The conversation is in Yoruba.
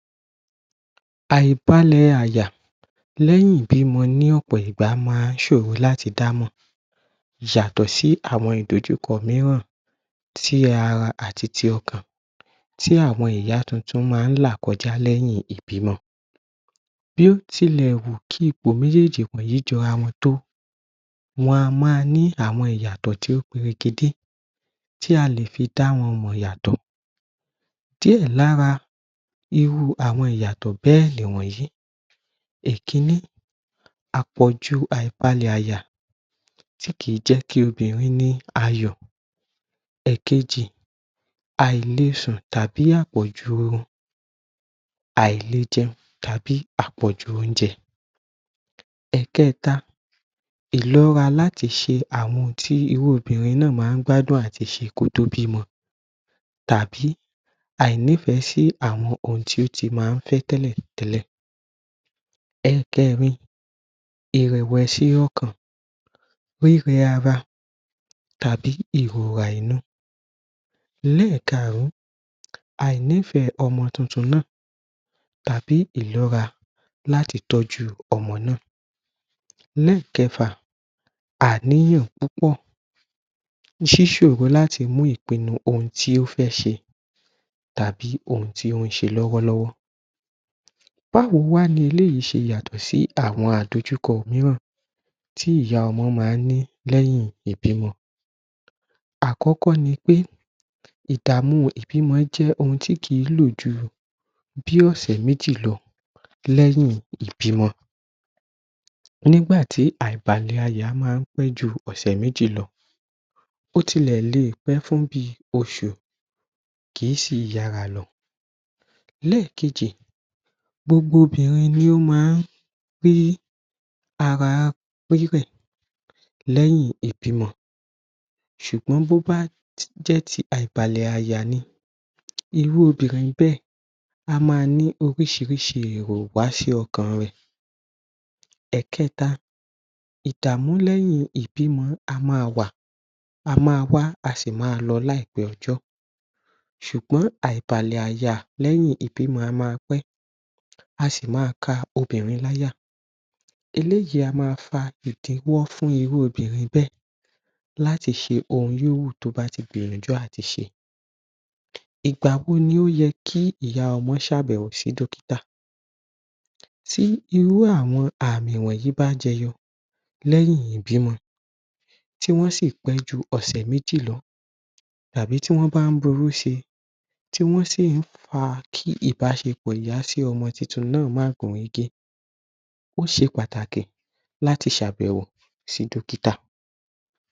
Àìbalẹ̀ àyà lẹ́yìn ìbímọ ní ọ̀pọ̀ ìgbà máa ṣòro láti dá mọ̀ yàtọ̀ sí àwọn ìdojúkọ mìíràn tí ara àti ti ọkàn tí àwọn ìyá tuntun máa là kọjá lẹ́yìn ìbímọ. Bí ó tì lè wù kí ìpò méjèèjì wọ̀nyí jọra tó, wọn a má ní àwọn ìyàtọ̀ tí ó pere kedé tí a lè fi dá wọn mọ̀ yàtọ̀. Díè lára irú àwọn ìyàtọ̀ bẹ́ẹ̀ ni wọ̀nyí. Ìkíní Àpọ̀jù àìbalẹ̀ àyà tí kì í jẹ́ kí obìnrin ní àyọ̀. Ẹ̀kejì Àìlèsùn tàbí àpọ̀jù orun. Àìlèjẹun tàbí àpọ̀jù oúnjẹ. Ẹ̀kẹta. Ìlọ́ra láti ṣe àwọn ohun tí irú obìnrin náà máa gbádùn àti ṣe kí ó tó bímọ tàbí àìnífẹ̀ẹ́ sí àwọn ohun tí ó ti máa fẹ́ tẹ́lẹ̀ tẹ́lẹ̀. Ẹ̀kẹrin Ìrẹ̀wẹ̀sì ọkàn, rírẹ ara tàbí ìróra inú. Ẹlẹ́kàrun. Àìnífẹ̀ẹ́ ọmọ tuntun náà tàbí Ìlọ́ra láti tọ́jú ọmọ náà. Ẹ̀lẹ́ẹ̀kẹfà Àníyàn púpọ̀ ṣíṣòro láti mu ìpinnu ohun tí ó fẹ́ ṣe tàbí ohun tí ó ṣe lọ́wọ́ lọ́wọ́. Báwo wá ni eléyìí ṣe yàtọ̀ sí àwọn ìdojúkọ mìíràn tí ìyá ọmọ máa ní lẹ́yìn ìbímọ? Àkọ́kọ́ ni pé, ìdààmú ìbímọ jẹ́ ohun tí kì í lò jù bí bí ọ̀sẹ̀ méjì lọ lẹ́yìn ìbímọ. Nígbà tí àìbalẹ̀ àyà máa pẹ́ ju ọ̀sẹ̀ méjì lọ. Ó tilẹ̀ lè pẹ́ fún bí oṣù, kì í sì yára lọ. Lẹ́ẹ̀kejì gbogbo obìnrin ni ó má pé ara pérè lẹ́yìn ìbímọ ṣùgbọ́n bó bá jẹ́ ti àìbalẹ̀ àyà ni, irú obìnrin bẹ́ẹ̀ a máa ní oríṣiríṣi èrò wá sí ọkàn rẹ̀. Ẹ̀kẹta, ìdààmú lẹ́yìn ìbímọ a máa wà, a máa wá, a sì máa lọ láìpẹ́ ọjọ́. Ṣùgbọ́n àìbalẹ̀ àyà lẹ́yìn ìbímọ a máa pẹ́, a sì má ka obìnrin láyà. Eléyìí a máa fa ìdíwọ́ fún irú obìnrin bẹ́ẹ̀ láti ṣe ohun yòówù tí ó bá ti gbìyànjú láti ṣe. Ìgbà wo ni ó yẹ kí ìyá ọmọ ṣe àbẹ̀wò sí dọ́kítà? Tí irú àwọn àmì yìí bá jẹ yọ lẹ́yìn ìbímọ tí wọn sì pẹ́ ju ọ̀sẹ̀ méjì lọ tàbí tí wọn bá ronú sí, tí wọn sì fa kí ìbáṣepò ìyá sí ọmọ tuntun náà má gún régé. Ó ṣe pàtàkì láti ṣe àyẹ̀wò sí dọ́kítà.